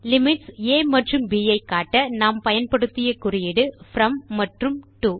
limits ஆ மற்றும் ப் ஐ காட்ட நாம் பயன்படுத்திய குறியீடு ப்ரோம் மற்றும் டோ